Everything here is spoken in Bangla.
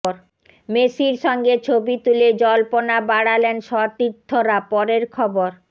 মেসির সঙ্গে ছবি তুলে জল্পনা বাড়ালেন সতীর্থরা পরের খবর